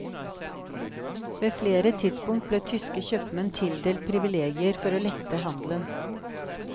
Ved flere tidspunkt ble tyske kjøpmenn tildelt privilegier for å lette handelen.